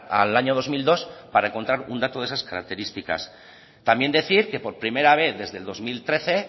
al año dos mil dos para encontrar un dato de esas características también decir que por primera vez desde el dos mil trece